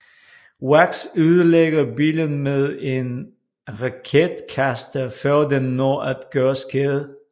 Wax ødelægger bilen med en raketkaster før den når at gøre skade